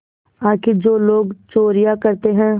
आखिर जो लोग चोरियॉँ करते हैं